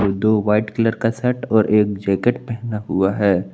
दो white colour का shirt और एक जैकेट पहना हुआ है।